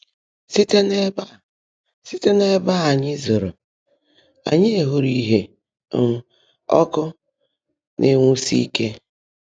Síte n’ébè Síte n’ébè ányị́ zọ́rọ́, ányị́ hụ́ụ́rụ́ ìhè um ọ́kụ́ ná-énwuúsị́ íke.